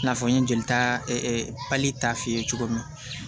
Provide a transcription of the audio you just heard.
I n'a fɔ n ye jeli ta pali ta f'i ye cogo min